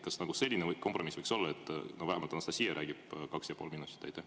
Kas selline kompromiss võiks olla, et vähemalt Anastassia räägib kaks ja pool minutit?